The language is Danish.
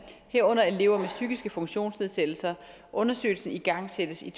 herunder elever med psykiske funktionsnedsættelser undersøgelsen igangsættes i